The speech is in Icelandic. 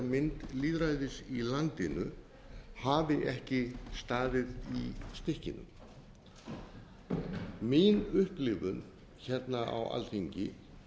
kraftbirtingarmynd lýðræðis í landinu hafi ekki staðið í stykkinu mín upplifun hérna á alþingi